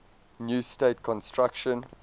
new state constitution